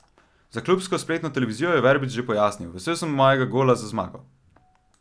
Za klubsko spletno televizijo je Verbič še pojasnil: "Vesel sem mojega gola za zmago.